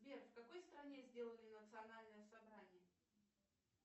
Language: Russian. сбер в какой стране сделали национальное собрание